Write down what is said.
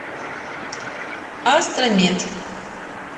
астра мед